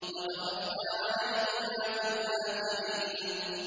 وَتَرَكْنَا عَلَيْهِمَا فِي الْآخِرِينَ